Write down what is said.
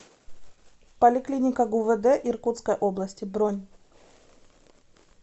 поликлиника гувд иркутской области бронь